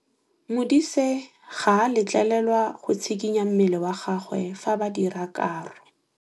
Modise ga a letlelelwa go tshikinya mmele wa gagwe fa ba dira karô.